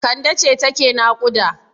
Kande ce take naƙuda.